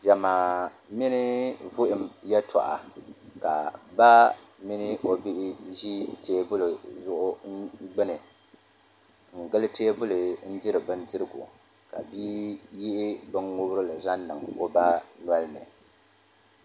Diɛma mini vuhum yɛltɔɣa ka ba mini o bia ʒi teebuli gbuni n gili teebuli n diri bindirigu ka bia yihi bin ŋubirili zaŋ niŋ o ba nolini